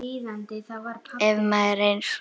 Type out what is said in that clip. Ef maður eins og